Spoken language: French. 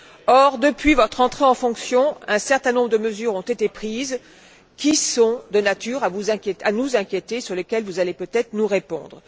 Or, depuis votre entrée en fonction, un certain nombre de mesures ont été prises qui sont de nature à nous inquiéter et sur lesquelles vous allez peut être nous répondre.